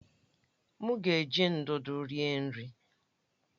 M ga-eji ndụdụ rie nri.